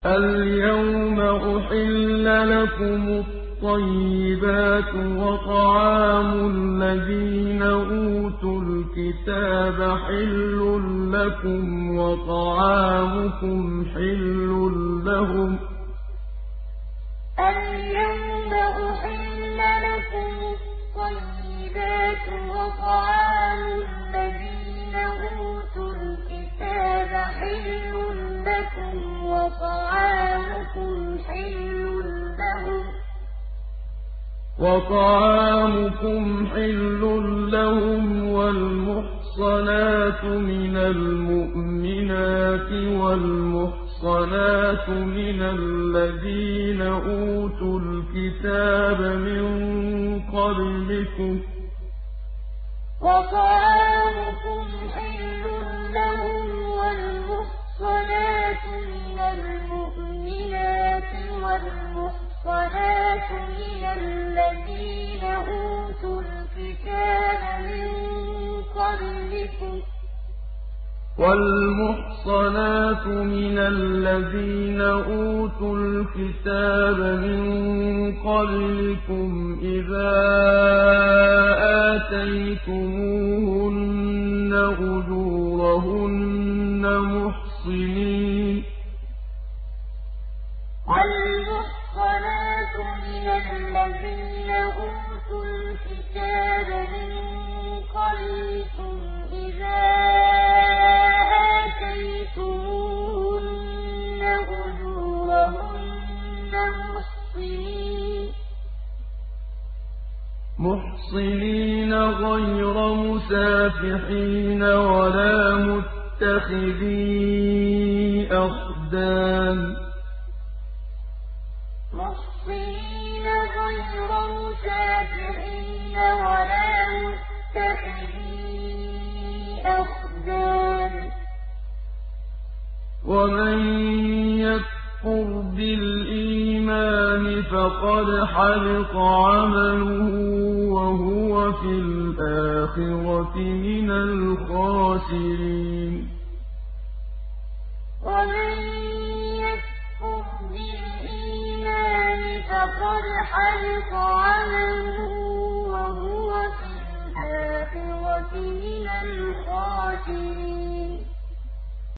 الْيَوْمَ أُحِلَّ لَكُمُ الطَّيِّبَاتُ ۖ وَطَعَامُ الَّذِينَ أُوتُوا الْكِتَابَ حِلٌّ لَّكُمْ وَطَعَامُكُمْ حِلٌّ لَّهُمْ ۖ وَالْمُحْصَنَاتُ مِنَ الْمُؤْمِنَاتِ وَالْمُحْصَنَاتُ مِنَ الَّذِينَ أُوتُوا الْكِتَابَ مِن قَبْلِكُمْ إِذَا آتَيْتُمُوهُنَّ أُجُورَهُنَّ مُحْصِنِينَ غَيْرَ مُسَافِحِينَ وَلَا مُتَّخِذِي أَخْدَانٍ ۗ وَمَن يَكْفُرْ بِالْإِيمَانِ فَقَدْ حَبِطَ عَمَلُهُ وَهُوَ فِي الْآخِرَةِ مِنَ الْخَاسِرِينَ الْيَوْمَ أُحِلَّ لَكُمُ الطَّيِّبَاتُ ۖ وَطَعَامُ الَّذِينَ أُوتُوا الْكِتَابَ حِلٌّ لَّكُمْ وَطَعَامُكُمْ حِلٌّ لَّهُمْ ۖ وَالْمُحْصَنَاتُ مِنَ الْمُؤْمِنَاتِ وَالْمُحْصَنَاتُ مِنَ الَّذِينَ أُوتُوا الْكِتَابَ مِن قَبْلِكُمْ إِذَا آتَيْتُمُوهُنَّ أُجُورَهُنَّ مُحْصِنِينَ غَيْرَ مُسَافِحِينَ وَلَا مُتَّخِذِي أَخْدَانٍ ۗ وَمَن يَكْفُرْ بِالْإِيمَانِ فَقَدْ حَبِطَ عَمَلُهُ وَهُوَ فِي الْآخِرَةِ مِنَ الْخَاسِرِينَ